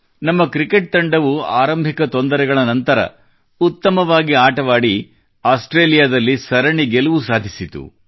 ನಮ್ಮ ಕ್ರಿಕೆಟ್ ತಂಡವು ಆರಂಭಿಕ ತೊಂದರೆಗಳ ನಂತರ ಪುನಃ ಉತ್ತಮತೆ ತಂದುಕೊಂಡು ಆಸ್ಟ್ರೇಲಿಯಾದಲ್ಲಿ ಸರಣಿ ಗೆಲುವು ಸಾಧಿಸಿತು